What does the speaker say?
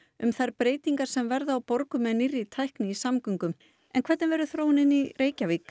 um þær breytingar sem verða á borgum með nýrri tækni í samgöngum en hvernig verður þróunin í Reykjavík